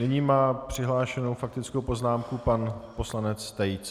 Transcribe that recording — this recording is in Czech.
Nyní má přihlášenou faktickou poznámku pan poslanec Tejc.